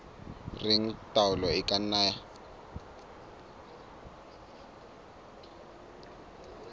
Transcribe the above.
reng taolo e ka nna